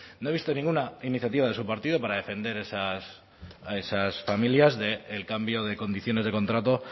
no he visto ninguna iniciativa de su partido para defender a esas familias del cambio de condiciones de contrato